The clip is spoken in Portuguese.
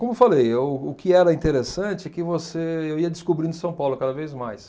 Como falei, o o que era interessante é que você, eu ia descobrindo São Paulo cada vez mais.